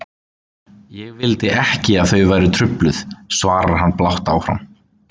Ég vildi ekki að þau væru trufluð, svarar hann blátt áfram.